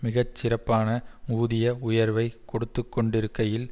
மிகச்சிறப்பான ஊதிய உயர்வைக் கொடுத்து கொண்டிருக்கையில்